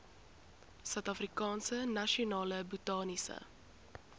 suidafrikaanse nasionale botaniese